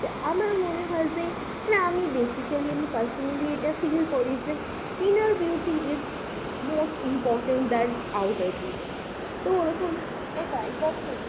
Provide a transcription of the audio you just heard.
আমার মনে হয় যে আমি basically, personally এটা feel করি যে inner beauty is most important than outer beauty তো ওরকম একদম